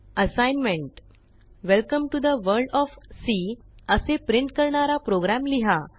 assignment welcome to the world of C असे print करणारा program लिहा